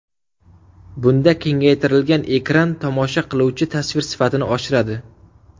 Bunda kengaytirilgan ekran tomosha qilinuvchi tasvir sifatini oshiradi.